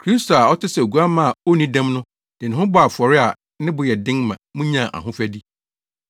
Kristo a ɔte sɛ oguamma a onni dɛm no de ne ho bɔɔ afɔre a ne bo yɛ den ma munyaa ahofadi.